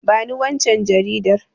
Bani waccan Jaridar